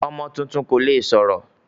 Ọmọ tuntun kò le sọ̀rọ̀.